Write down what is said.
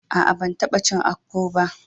A'a, ban tabba cin akpu ba.